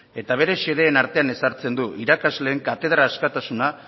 eta bere xedeen artean ezartzen du irakasleen katedra askatasuna